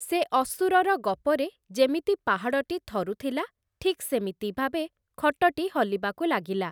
ସେ ଅସୁରର ଗପରେ ଯେମିତି ପାହାଡ଼ଟି ଥରୁଥିଲା, ଠିକ୍ ସେମିତି ଭାବେ ଖଟଟି ହଲିବାକୁ ଲାଗିଲା ।